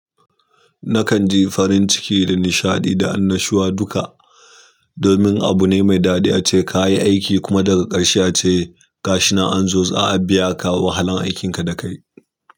Na kanji farinciki da nishaɗi da annushuwa duka, domin abu ne me daɗi ace kayi aiki kuma daga ƙarshe ace, gashina an zo a biya ka wahalan aikinka da kayi.